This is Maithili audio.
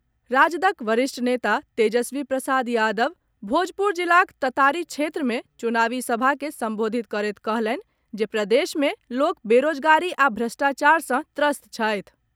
राजदक वरिष्ठ नेता तेजस्वी प्रसाद यादव भोजपुर जिलाक ततारी क्षेत्र मे चुनावी सभा के संबोधित करैत कहलनि जे प्रदेश में लोक बेरोजगारी आ भ्रष्टाचार सँ त्रस्त छथि।